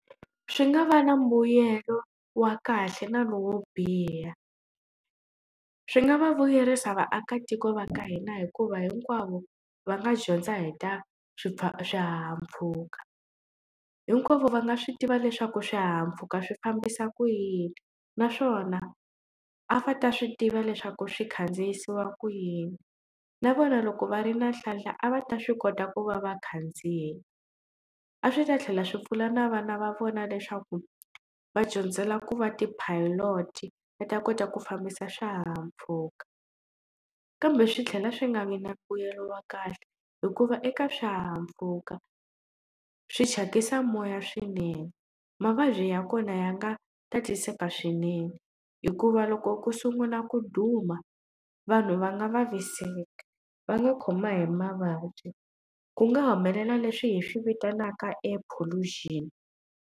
Swi nga va na mbuyelo wa kahle na lowo biha swi nga va vuyerisa vaakatiko va ka hina hikuva hinkwavo va nga dyondza hi ta swihahampfhuka hinkwavo va nga swi tiva leswaku swihahampfhuka swi fambisa ku yini naswona a va ta swi tiva leswaku swi khandziyisiwa ku yini na vona loko va ri na nhlahla a va ta swi kota ku va vakhandziyi a swi ta tlhela swi pfuna na vana va vona leswaku va dyondzela ku va ti pilot va ta kota ku fambisa swihahampfhuka kambe swi tlhela swi nga vi na mbuyelo wa kahle hikuva eka swihahampfhuka swi thyakisa moya swinene mavabyi ya kona ya nga tatiseka swinene hikuva loko ku sungula ku duma vanhu va nga vaviseki va nga khoma hi mavabyi ku nga humelela leswi hi swi vitanaka air pollution.